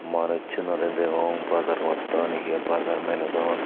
manussunorey degong bazaar gotton hiye bazar melodon.